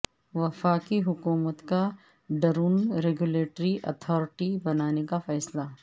وفاقی حکومت کا ڈرون ریگولیٹری اتھارٹی بنانے کا فیصلہ